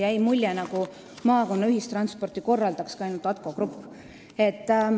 Jäi mulje, nagu maakonnaliinidel korraldakski ühistransporti ainult ATKO Grupp.